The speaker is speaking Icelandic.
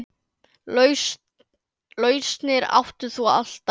Lausnir áttir þú alltaf.